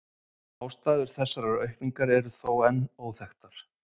Ástæður þessarar aukningar eru þó enn óþekktar.